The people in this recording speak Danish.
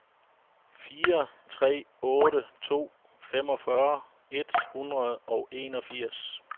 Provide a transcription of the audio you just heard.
fire tre otte to femogfyrre et hundrede og enogfirs